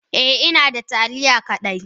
Eh inada taliya kadai.